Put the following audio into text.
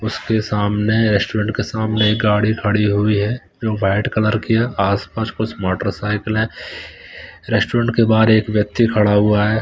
उसके सामने रेस्टोरेंट के सामने एक गाड़ी खड़ी हुई है जो व्हाइट कलर की है आस पास कुछ मोटरसाइकिल है रेस्टोरेंट के बाहर एक व्यक्ति खड़ा हुआ है।